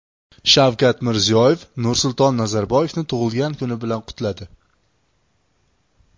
Shavkat Mirziyoyev Nursulton Nazarboyevni tug‘ilgan kuni bilan qutladi.